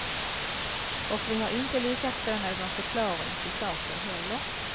Och vi har inte lyckats få någon förklaring till saken heller.